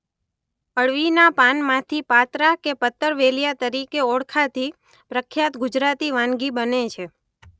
અળવીના પાનમાંથી પાત્રા કે પતરવેલીયા તરિકે ઓળખાતી પ્રખ્યાત ગુજરાતી વાનગી બને છે.